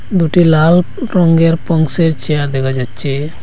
দুটি লাল রঙ্গের পন্সের চেয়ার দেখা যাচ্ছে।